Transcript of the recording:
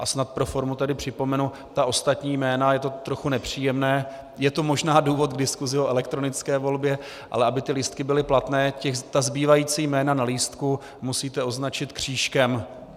A snad pro formu tedy připomenu: Ta ostatní jména, je to trochu nepříjemné, je to možná důvod k diskusi o elektronické volbě, ale aby ty lístky byly platné, ta zbývající jména na lístku musíte označit křížkem.